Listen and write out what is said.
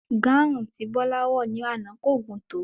Gáhuùn tí Bola wò ní àná kò gùn tó.